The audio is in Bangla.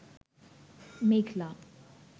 মেঘলা